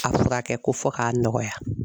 A furakɛ ko fɔ k'a nɔgɔya